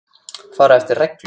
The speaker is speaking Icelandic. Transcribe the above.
Fara eftir reglum.